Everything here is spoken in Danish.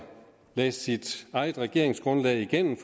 læse sit eget regeringsgrundlag igennem